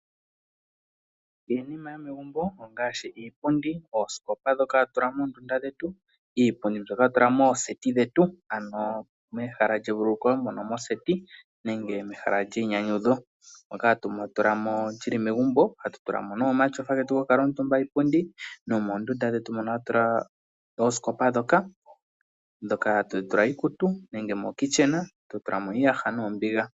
Iinima yomegumbo ongaashi iipundi, oosikopa ndhoka hatu tula moondunda dhetu, iipundi mbyoka hatu tula mooseti dhetu ano mehala lyevululuko mono moseti nenge mehala lyeinyanyudho, moka hatu tula mo, lyi li megumbo, hatu tula mo nee omatyofa getu go ku kala omutumba iipundi, nomoondunda dhetu mono hatu tula oosikopa dhoka hatu tula iikutu nenge mokictchen totula mo iiyaha noombiga.